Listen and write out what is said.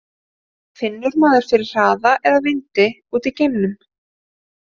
Finnur maður fyrir hraða eða vindi úti í geimnum?